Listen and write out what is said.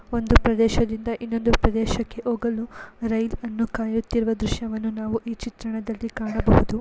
ಒಂದು ಪ್ರದೇಶದಿಂದ ಇನೊಂದು ಪ್ರದೇಶಕ್ಕೆ ಹೋಗಲು ರೈಲಿಗೆ ಕಾಯುತ್ತಿರುವ ದೃಶ್ಯವನ್ನು ನಾವು ಚಿತ್ರಣದಲ್ಲಿ ಕಾಣಬಹುದು .